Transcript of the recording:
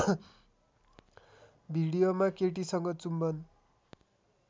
भिडियोमा केटीसँग चुम्बन